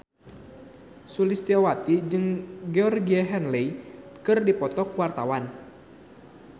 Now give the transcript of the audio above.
Sulistyowati jeung Georgie Henley keur dipoto ku wartawan